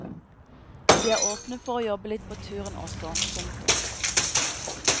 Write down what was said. Vi er åpne for å jobbe litt på turen også. punktum